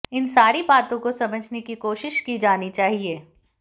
इन सारी बातों को समझने की कोशिश की जानी चाहिये